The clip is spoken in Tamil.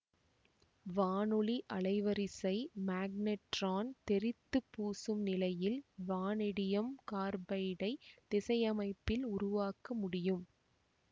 வானொலி அலைவரிசை மேக்னெட்ரான் தெறித்துப் பூசும் நிலையில் வானேடியம் கார்பைடை திசையமைப்பில் உருவாக்க முடியும்